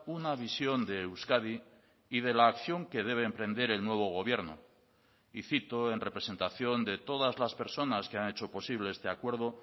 una visión de euskadi y de la acción que debe emprender el nuevo gobierno y cito en representación de todas las personas que han hecho posible este acuerdo